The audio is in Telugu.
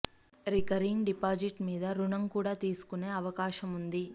రికరింగ్ డిపాజిట్ మీద రుణం కూడా తీసుకునే అవకాశముంది